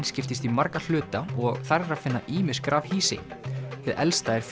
skiptist í marga hluta og þar er að finna ýmis grafhýsi hið elsta er